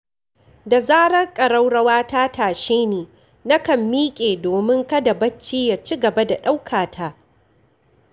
Da zarar ƙaraurawa ta tashe ni, nakan miƙe domin kada bacci ya ci gaba da ɗaukata.